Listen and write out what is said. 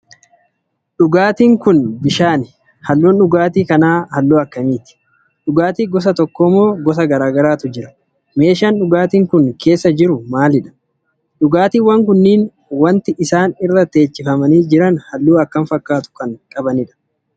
Dhugaatiin Kuni bishaani. Halluun dhugaatii kanaa halluu akkamiiti?. dhugaatii gosa tokko moo gosa garagaraatu jira?. Meeshaan dhugaatiin Kuni keessa jiru maalidha? dhugaatiiwwan kunniin wanti isaan irra teechifamanii jiran halluu akkam fakkaatu Kan qabanidha?.